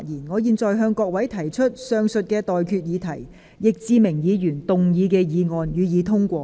我現在向各位提出的待決議題是：易志明議員動議的議案，予以通過。